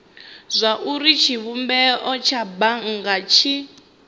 zwauri tshivhumbeo tsha bannga tshi